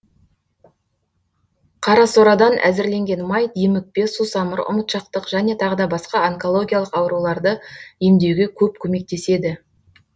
қарасорадан әзірленген май демікпе сусамыр ұмытшақтық және тағы басқа онкологиялық ауруларды емдеуге көп көмектеседі